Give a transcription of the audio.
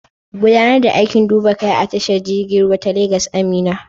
Gudanar da aikin duba kaya a tashar jirgin ruwa ta Legas, Amina.